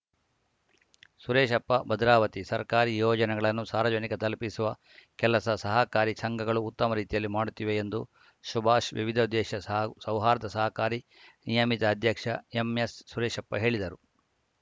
ಸುರೇಶಪ್ಪ ಭದ್ರಾವತಿ ಸರ್ಕಾರಿ ಯೋಜನೆಗಳನ್ನು ಸಾರ್ವಜನಿಕ ತಲುಪಿಸುವ ಕೆಲಸ ಸಹಕಾರಿ ಸಂಘಗಳು ಉತ್ತಮ ರೀತಿಯಲ್ಲಿ ಮಾಡುತ್ತಿವೆ ಎಂದು ಸುಭಾಷ್‌ ವಿವಿಧೋದ್ದೇಶ ಸೌಹಾರ್ದ ಸಹಕಾರಿ ನಿಯಮಿತ ಅಧ್ಯಕ್ಷ ಎಂಎಸ್‌ ಸುರೇಶಪ್ಪ ಹೇಳಿದರು